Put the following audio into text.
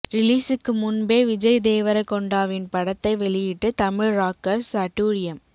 ரிலீஸுக்கு முன்பே விஜய் தேவரகொண்டாவின் படத்தை வெளியிட்டு தமிழ் ராக்கர்ஸ் அட்டூழியம்